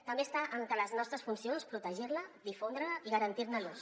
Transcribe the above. també està entre les nostres funcions protegir la difondre la i garantir ne l’ús